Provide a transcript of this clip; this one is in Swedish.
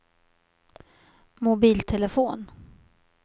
mobiltelefon